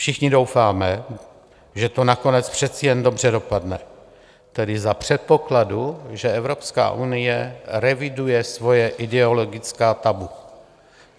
Všichni doufáme, že to nakonec přece jen dobře dopadne, tedy za předpokladu, že Evropská unie reviduje svoje ideologická tabu.